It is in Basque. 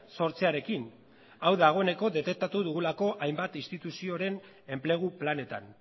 sortzearekin hau dagoeneko detektatu dugulako hainbat instituzioren enplegu planetan